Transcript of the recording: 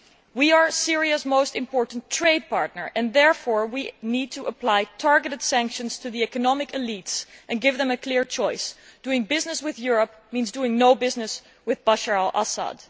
We are Syria's most important trading partner and therefore we need to apply targeted sanctions to the economic elites and give them a clear choice doing business with Europe means doing no business with Bashar al Assad.